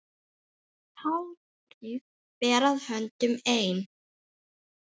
Hátíð fer að höndum ein.